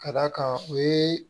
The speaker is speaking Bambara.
Ka d'a kan o ye